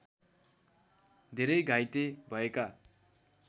धेरै घाइते भएका